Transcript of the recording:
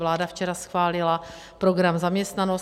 Vláda včera schválila program Zaměstnanost.